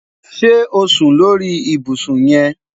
Ṣe o sun lori ibusun yẹn?